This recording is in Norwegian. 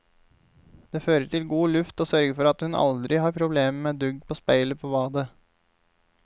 Det fører til god luft og sørger for at hun aldri har problemer med dugg på speilet på badet.